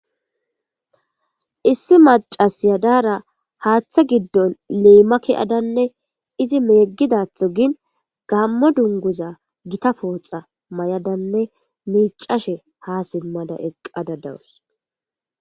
Issi mac'assiya diyara haththa giddon limma kiyaddanne izzi megiddaththogin gamo dunguza githakko mayaddanne mic'ashe ha eqqada de'asu.